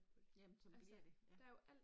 Ja men sådan bliver det, ja